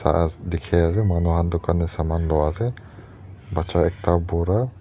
dikhi ase manu khan tu dukaan de aman loa ase bacha ekta bura--